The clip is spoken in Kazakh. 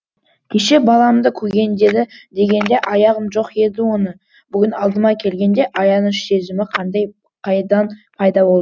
кеше баламды көгендеді дегенде аяғам жоқ еді оны бүгін алдыма келгенде аяныш сезімі қайдан пайда бол